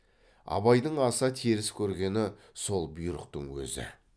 абайдың аса теріс көргені сол бұйрықтың өзі